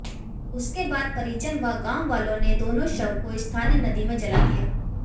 उसके बाद परिजन व गांववालों ने दोनों शव को स्थानीय नदी में जला दिया